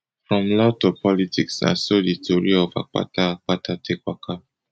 from law to politics na so di tori of akpata akpata take waka